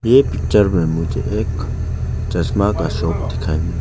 ये पिक्चर में मुझे एक चश्मा का शोप दिखाइ --